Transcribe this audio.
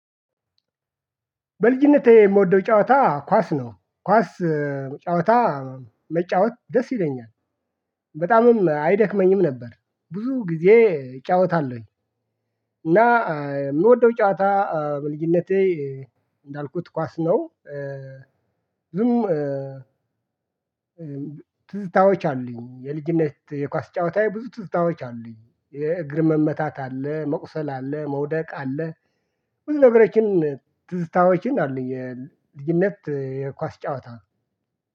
በልጅነቴ የምወደው ጨዋታ ኳስ ነው ኳስ ጨዋታ መጫወት ደስ ይለኛል በጣምም አይደክመኝም ነበር ብዙ ጊዜ እጫወታለሁኝ እና የምወደው ጨዋታ በልጅነቴ እንዳልኩት ኳስ ነው። ዝም ትዝታዎች አሉኝ የልጅነት የኳስ ጨዋታ ብዙ ትዝታዎች አሉኝ የእግር መመታት አለ መቁሰል አለ መውደቅ አለ ብዙ ነገሮችን ትዝታዎችን አሉ የልጅነት የኳስ ጨዋታ